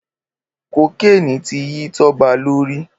Kókéni ti yi Toba lóri